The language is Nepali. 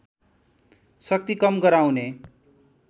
शक्ति कम गराउने